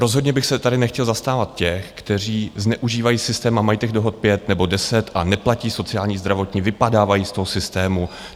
Rozhodně bych se tady nechtěl zastávat těch, kteří zneužívají systém a mají těch dohod pět nebo deset a neplatí sociální, zdravotní, vypadávají z toho systému.